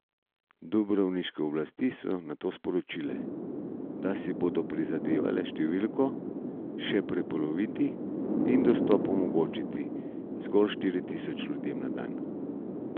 Dubrovniške oblasti so nato sporočile, da si bodo prizadevale številko še prepoloviti in dostop omogočiti zgolj štiri tisoč ljudem na dan.